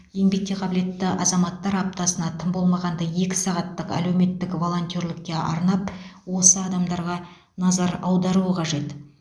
еңбекке қабілетті азаматтар аптасына тым болмағанда екі сағаттық әлеуметтік волонтерлікке арнап осы адамдарға назар аударуы қажет